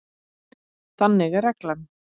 Þannig er reglan.